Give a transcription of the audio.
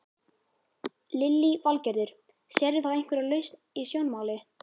Lillý Valgerður: Sérðu þá einhverja lausn í sjónmáli?